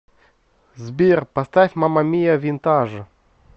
сбер поставь мама мия винтаж